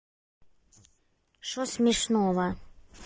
что смешного